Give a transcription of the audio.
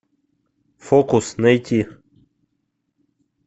фокус найти